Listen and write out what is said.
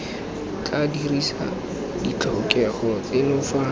tla dirisa ditlhokego tseno fa